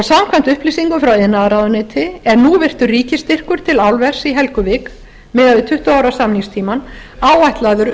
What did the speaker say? samkvæmt upplýsingum frá iðnaðarráðuneyti er nú núvirtur ríkisstyrkur til álvers í helguvík miðað við tuttugu ára samningstímann áætlaður